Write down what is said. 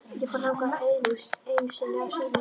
Ég fór þangað einu sinni að sumarlagi.